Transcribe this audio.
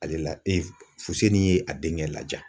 Ale la Fuseni ye a denkɛ laja.